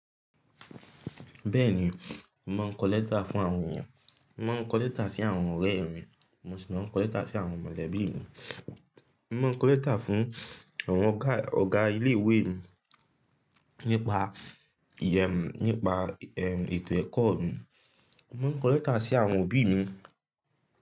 Bẹ́ẹ̀ni o, n màá n kọlẹ́tà fún àwọn èèyàn. Màá n kọlẹ́tà sí àwọn ọ̀rẹ́ mi, mo sì máa ń kọlẹ́tà sí àwọn mọ̀lẹ́bí mi. N màá kọlẹ́tà fún àwọn ọ̀gá ọ̀gá ilé ìwé mi nípa ìyẹ̀ mi, nípa ètò ẹ̀kọ́ mi. Màá kọlẹ́tà sí àwọn òbí mi.